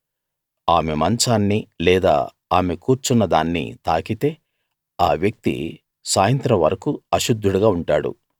ఆమె మంచాన్నీ లేదా ఆమె కూర్చున్నదాన్నీ తాకితే ఆ వ్యక్తి సాయంత్రం వరకూ అశుద్ధుడుగా ఉంటాడు